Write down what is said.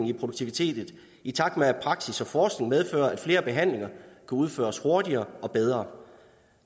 i produktiviteten i takt med at udviklingen i praksis og forskning medfører at flere behandlinger kan udføres hurtigere og bedre